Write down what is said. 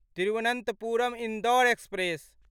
Thiruvananthapuram Indore express